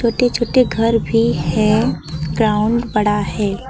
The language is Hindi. छोटे छोटे घर भी हैं ग्राउंड बड़ा है।